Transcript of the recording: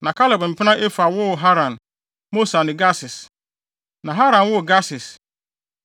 Na Kaleb mpena Efa woo Haran, Mosa ne Gases. Na Haran woo Gases.